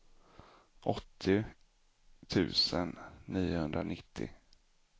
åttio tusen niohundranittio